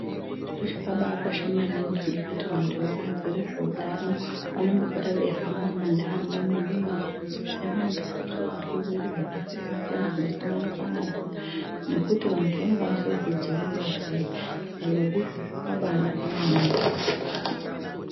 Zviro zvakakosha maningi kuti vantu vanobaziva zvehutano vanombohamba mumandaraunda edu mwo veidzidzisa pamusoro pezvirwere zvakasiyana siyana zvingasanganikwa nazvo nekuti vantu vangakwanisa kudzivirira sei zvibaro izvozvo zvakaba naka maningi.